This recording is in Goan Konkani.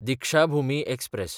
दिक्षाभुमी एक्सप्रॅस